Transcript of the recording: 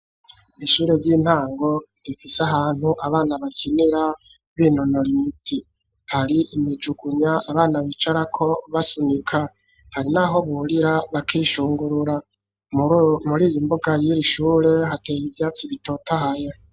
Ishure ry'intango rifise ahantu abana bakinira b'inonora imitsi hari imivuma abana bicarako basunika hari n'aho burira bakishungurura muriyo mbuga yir'ishure hateye ivyatsi bitotahaye.